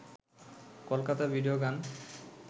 Kolkata video গান